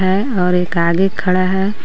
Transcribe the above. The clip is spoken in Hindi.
है और एक आगे खड़ा है.